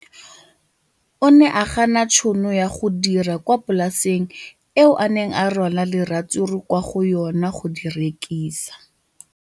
O ne a gana tšhono ya go dira kwa polaseng eo a neng rwala diratsuru kwa go yona go di rekisa.